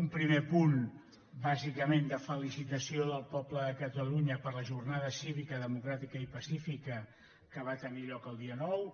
un primer punt bàsicament de felicitació del poble de catalunya per la jornada cívica democràtica i pa·cífica que va tenir lloc el dia nou